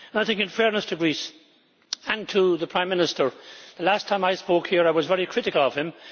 I think in fairness to Greece, and to the Prime Minister, the last time I spoke here I was very critical of him.